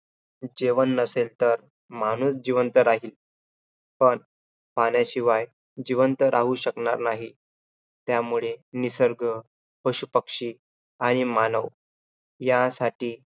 जेवण नसेल तर, माणूस जिवंत राहील. पण पाण्याशिवाय जिवंत राहू शकणार नाही. त्यामुळे निसर्ग पशुपक्षी आणि मानव ह्यासाठी